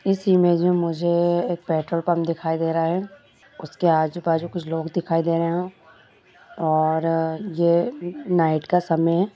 इस इमेज में मुझे एक पेट्रोल पंप दिखाई दे रहा है उसके आजू बाजू कुछ लोग दिखाई दे रहे हैं और ये नाइट का समय है।